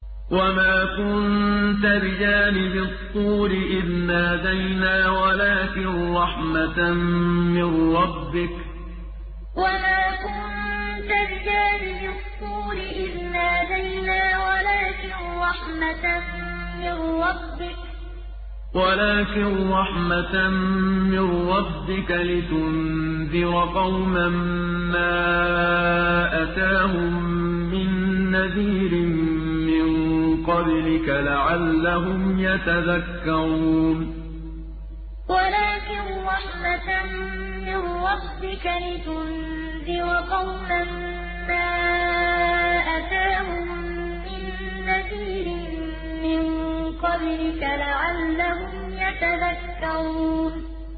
وَمَا كُنتَ بِجَانِبِ الطُّورِ إِذْ نَادَيْنَا وَلَٰكِن رَّحْمَةً مِّن رَّبِّكَ لِتُنذِرَ قَوْمًا مَّا أَتَاهُم مِّن نَّذِيرٍ مِّن قَبْلِكَ لَعَلَّهُمْ يَتَذَكَّرُونَ وَمَا كُنتَ بِجَانِبِ الطُّورِ إِذْ نَادَيْنَا وَلَٰكِن رَّحْمَةً مِّن رَّبِّكَ لِتُنذِرَ قَوْمًا مَّا أَتَاهُم مِّن نَّذِيرٍ مِّن قَبْلِكَ لَعَلَّهُمْ يَتَذَكَّرُونَ